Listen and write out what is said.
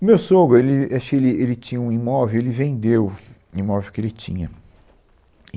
O meu sogro, ele acho que, ele ele tinha um imóvel, ele vendeu o imóvel que ele tinha.